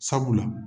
Sabula